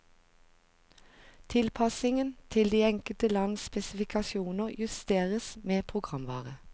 Tilpassingen til de enkelte lands spesifikasjoner justeres med programvare.